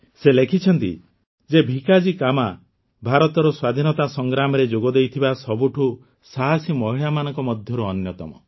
ସେ ଲେଖିଛନ୍ତି ଯେ ଭିକାଜୀ କାମା ଭାରତର ସ୍ୱାଧୀନତା ସଂଗ୍ରାମରେ ଯୋଗଦେଇଥିବା ସବୁଠାରୁ ସାହସୀ ମହିଳାମାନଙ୍କ ମଧ୍ୟରୁ ଅନ୍ୟତମ